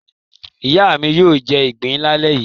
Ìyá mi yóò jẹ ìgbín lálẹ́ yìí.